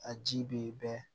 A ji bɛ bɛn